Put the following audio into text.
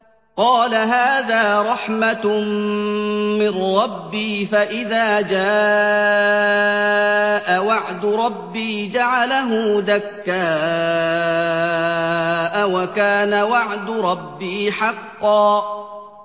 قَالَ هَٰذَا رَحْمَةٌ مِّن رَّبِّي ۖ فَإِذَا جَاءَ وَعْدُ رَبِّي جَعَلَهُ دَكَّاءَ ۖ وَكَانَ وَعْدُ رَبِّي حَقًّا